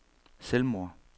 selvmord